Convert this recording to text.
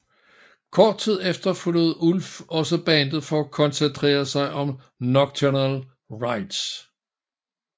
Kort tid efter forlod Ulf også bandet for at koncentrere sig om Nocturnal Rites